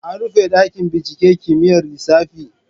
An rufe dakin binciken kimiyyar lissafi.